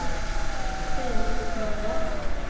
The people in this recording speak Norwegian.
Berit Nerland